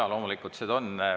Jaa, loomulikult.